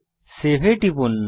save এ টিপুন